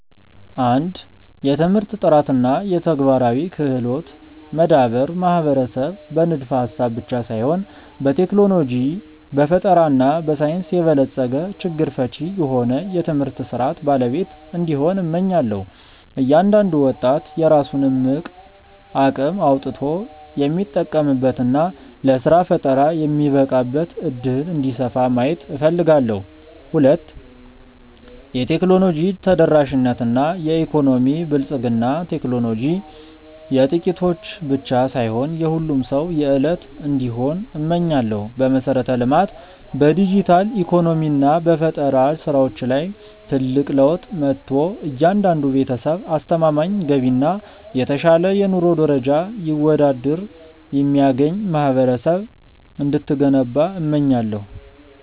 1. የትምህርት ጥራት እና የተግባራዊ ክህሎት መዳበር ማህበረሰብ በንድፈ-ሐሳብ ብቻ ሳይሆን በቴክኖሎጂ፣ በፈጠራ እና በሳይንስ የበለጸገ፣ ችግር ፈቺ የሆነ የትምህርት ሥርዓት ባለቤት እንዲሆን፣ እመኛለሁ። እያንዳንዱ ወጣት የራሱን እምቅ አቅም አውጥቶ የሚጠቀምበት እና ለሥራ ፈጠራ የሚበቃበት ዕድል እንዲሰፋ ማየት እፈልጋለሁ። 2. የቴክኖሎጂ ተደራሽነት እና የኢኮኖሚ ብልጽግና ቴክኖሎጂ የጥቂቶች ብቻ ሳይሆን የሁሉም ሰው የዕለት እንዲሆን እመኛለሁ። በመሠረተ-ልማት፣ በዲጂታል ኢኮኖሚ እና በፈጠራ ሥራዎች ላይ ትልቅ ለውጥ መጥቶ፣ እያንዳንዱ ቤተሰብ አስተማማኝ ገቢ እና የተሻለ የኑሮ ደረጃ ይወዳድር የሚያገኝ ማህበረሰብ እንድትገነባ እመኛለሁ።